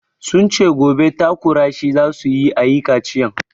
Sun ce gobe takura shi za su yi a yi kaciyan.